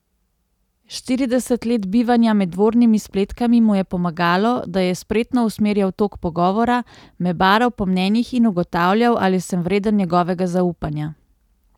Štirideset let bivanja med dvornimi spletkami mu je pomagalo, da je spretno usmerjal tok pogovora, me baral po mnenjih in ugotavljal, ali sem vreden njegovega zaupanja.